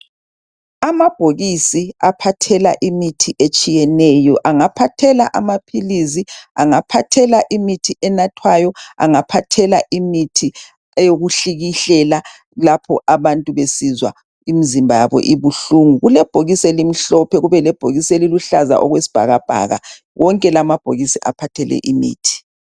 Amabhokisi aphathela imithi etshiyeneyo engaphathela amaphilisi angaphathela imithi enathwayo engaphathelwa imithi yokuhlikihlela lapho abantu besizwa imzimba yabo ibihlungu. Kulebhokisi elimhlophe kube lebhokisi eliluhlaza kwesibhakabhaka wonke la amabhokisi aphathele imithi.